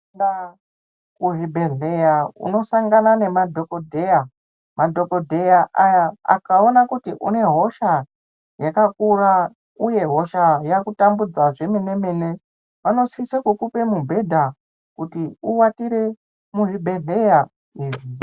Ukapinda muzvibhedhlera unosangana nemadhokodheya .Madhokodheya ayayaakakuona kuti une hosha yakakura uye hosha yakutambudza zvemene mene vanosisa kukupa mubhedha kuti uwatire muzvibhedhlera.